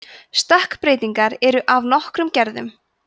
stökkbreytingar eru af nokkrum gerðum